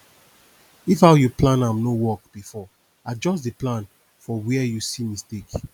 if how yu plan am no work bifor adjust di plan for wia yu see mistake